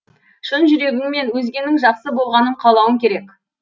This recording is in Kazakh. шын жүрегіңмен өзгенің жақсы болғанын қалауың керек